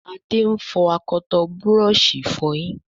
Ade ń fo akọtọ Búrọ̀ọ̀ṣì ìfọyín